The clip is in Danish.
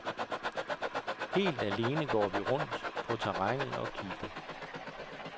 Helt alene går vi rundt på terrænet og kigger.